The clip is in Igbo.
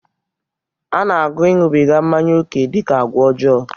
A na-agụ ịṅụbịga mmanya oke dị ka agwa ọjọọ